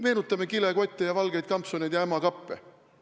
Meenutame kilekotte, valgeid kampsuneid ja ämma kappe!